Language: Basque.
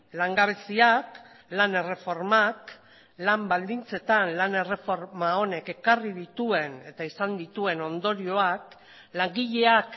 langabeziak lan erreformak lan baldintzetan lan erreforma honek ekarri dituen eta izan dituen ondorioak langileak